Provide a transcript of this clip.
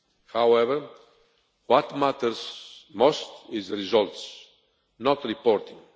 However, what matters most are the results, not reporting.